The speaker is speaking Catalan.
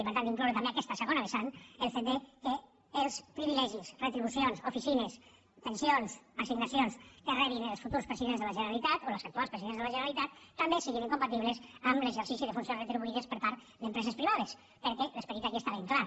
i per tant d’incloure també aquesta segona vessant el fet que els privilegis retribucions oficines pensions assignacions que rebin els futurs presidents de la generalitat o els actuals presidents de la generalitat també siguin incompatibles amb l’exercici de funcions retribuïdes per part d’empreses privades perquè l’esperit aquí està ben clar